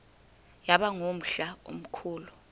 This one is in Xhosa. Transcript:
yaba ngumhla omkhulu